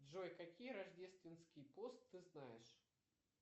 джой какие рождественский пост ты знаешь